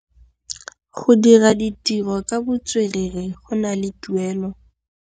Go dira ditirô ka botswerere go na le tuelô.